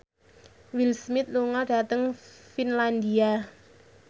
Will Smith lunga dhateng Finlandia